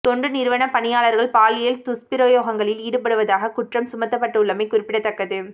தொண்டு நிறுவனப் பணியாளர்கள் பாலியல் துஸ்பிரயோகங்களில் ஈடுபட்டதாகக் குற்றம் சுமத்தப்பட்டுள்ளமை குறிப்பிடத்தக்கது